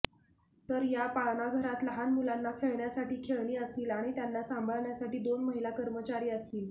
तर या पाळणाघरात लहान मुलांना खेळण्यासाठी खेळणी असतील आणि त्यांना सांभाळण्यासाठी दोन महिला कर्मचारी असतील